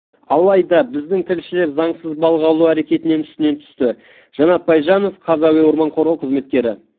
алайда біздің тілшілер заңсыз балық аулау әрекетінің үстінен түсті жанат байжанов қаз әуе орман қорғау қызметкері